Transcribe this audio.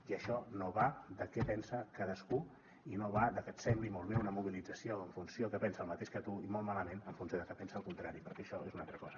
i això no va de què pensa cadascú i no va de que et sembli molt bé una mobilització en funció de que pensa el mateix que tu i molt malament en funció de que pensa el contrari perquè això és una altra cosa